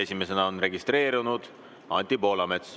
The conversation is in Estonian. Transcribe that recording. Esimesena on registreerunud Anti Poolamets.